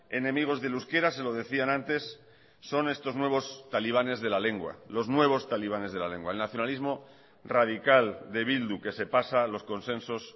enemigos del euskera se lo decían antes son estos nuevos talibanes de la lengua los nuevos talibanes de la lengua el nacionalismo radical de bildu que se pasa los consensos